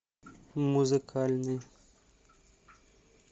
музыкальный